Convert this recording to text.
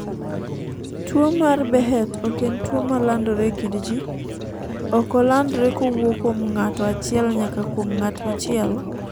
Tuo mar Behet ok en tuo malandore e kind jii, ok olandre kowuok kuom ng'ato achiel nyaka kuom ng''at machielo